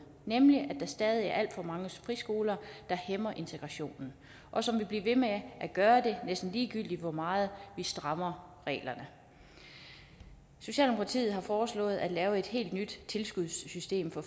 nemlig at der stadig er alt for mange friskoler der hæmmer integrationen og som vil blive ved med at gøre det næsten ligegyldigt hvor meget vi strammer reglerne socialdemokratiet har foreslået at lave et helt nyt tilskudssystem for